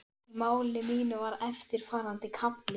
Í máli mínu var eftirfarandi kafli